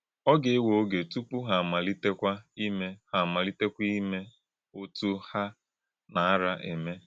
Ọ̀ gà-èwè ògé túpù há àmalítèkwà ímè há àmalítèkwà ímè ọ́tụ́ há nā-árà émè.